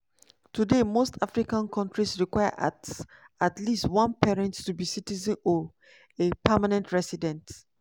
today most african kontris require at at least one parent to be citizen or a permanent resident.